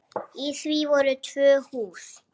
Í því voru tvö hús.